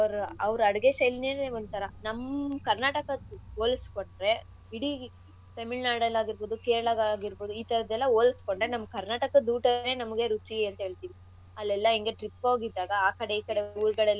ಅಡ್ಗೆ ಶೈಲಿನೇ ಒಂಥರಾ ನಮ್ಮ ಕರ್ನಾಟಕಕ್ ಹೋಲಸ್ಕೊಂಡ್ರೆ ಇಡೀ ತೆಮಿಳ್ನಾಡಲ್ ಆಗಿರ್ಬೋದು ಕೇರಳಗಾಗಿರ್ಬೋದು ಈ ಥರದ್ದೆಲ್ಲಾ ಹೋಲಸ್ಕೊಂಡ್ರೆ ಒಟ್ಟಲ್ ನಮ್ಮ ಕರ್ನಾಟಕದ್ ಊಟನೇ ನಮ್ಗೆ ರುಚಿ ಅಂತ ಹೇಳ್ತಿವಿ ಅಲ್ಲೆಲ್ಲ ಹೆಂಗೆ trip ಹೋಗಿದ್ದಾಗ ಆಕಡೆ ಈಕಡೆ ಊರ್ಗಲಲ್ಲೆಲ್ಲ.